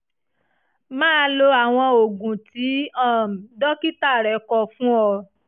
máa lo àwọn oògùn tí um dókítà rẹ kọ fún ọ